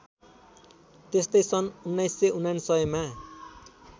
त्यस्तै सन् १९९९ मा